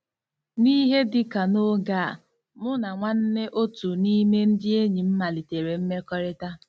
N'ihe dị ka n'oge a, mụ na nwanne otu n'ime ndị enyi m malitere mmekọrịta.